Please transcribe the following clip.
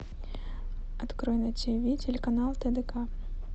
открой на тиви телеканал тдк